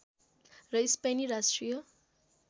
र स्पेनी राष्ट्रिय